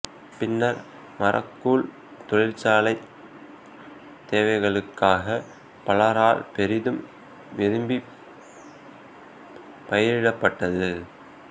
பின்னர் மரக்கூழ் தொழிற்சாலைத் தேவைகளுக்காக பலரால் பெரிதும் விரும்பிப் பயிரிப்பட்டது